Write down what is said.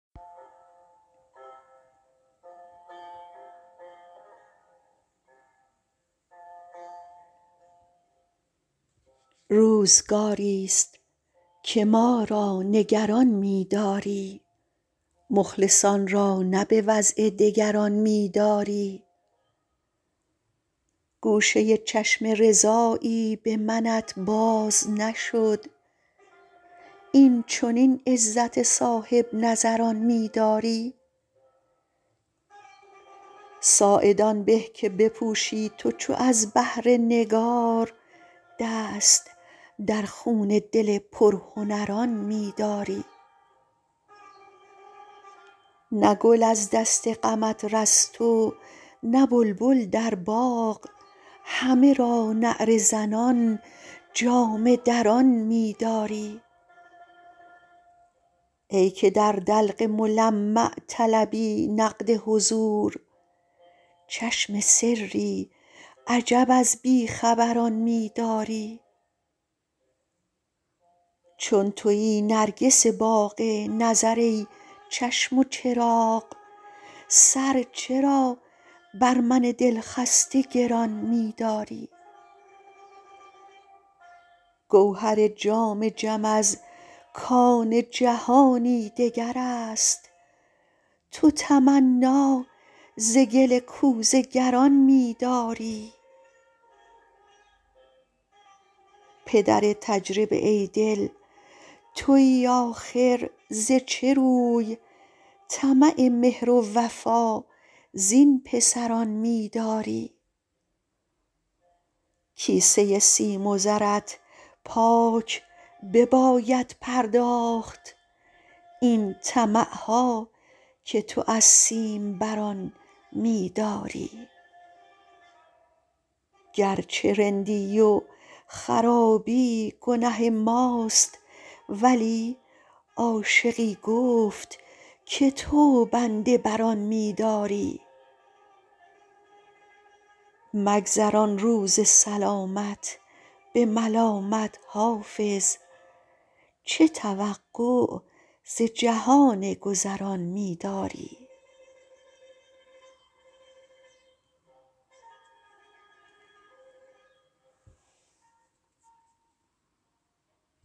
روزگاری ست که ما را نگران می داری مخلصان را نه به وضع دگران می داری گوشه چشم رضایی به منت باز نشد این چنین عزت صاحب نظران می داری ساعد آن به که بپوشی تو چو از بهر نگار دست در خون دل پرهنران می داری نه گل از دست غمت رست و نه بلبل در باغ همه را نعره زنان جامه دران می داری ای که در دلق ملمع طلبی نقد حضور چشم سری عجب از بی خبران می داری چون تویی نرگس باغ نظر ای چشم و چراغ سر چرا بر من دل خسته گران می داری گوهر جام جم از کان جهانی دگر است تو تمنا ز گل کوزه گران می داری پدر تجربه ای دل تویی آخر ز چه روی طمع مهر و وفا زین پسران می داری کیسه سیم و زرت پاک بباید پرداخت این طمع ها که تو از سیم بران می داری گر چه رندی و خرابی گنه ماست ولی عاشقی گفت که تو بنده بر آن می داری مگذران روز سلامت به ملامت حافظ چه توقع ز جهان گذران می داری